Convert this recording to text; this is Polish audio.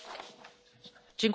Pani Przewodnicząca!